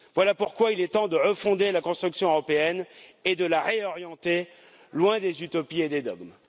Voilà pourquoi il est temps de refonder la construction européenne et de la réorienter, loin des utopies et des dogmes.